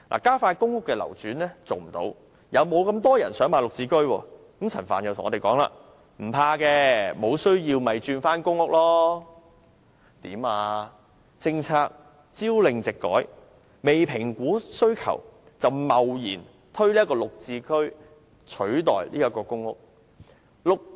政府究竟想怎樣？政策朝令夕改，未評估需求便貿然推出"綠置居"取代公屋。